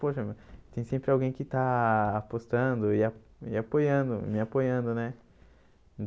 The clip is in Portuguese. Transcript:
Poxa, tem sempre alguém que está apostando e ah me apoiando me apoiando, né? E